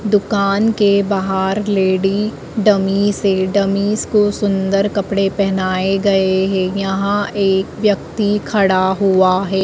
दुकान के बाहर लेडी डमिस है डमिस को सुन्दर कपड़े पहनाए गए है यहां एक व्यक्ति खड़ा हुआ है।